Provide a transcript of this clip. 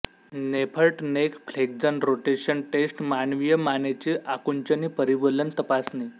नेफर्ट neck flexion rotation test मानवीय मानेची आकुंचनी परिवलन तपासणी